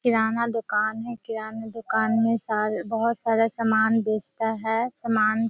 किराना दुकान किराना दुकान मे सारे बहुत सारा समान बेचता है समान --